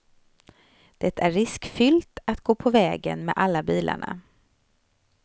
Det är riskfyllt att gå på vägen med alla bilarna.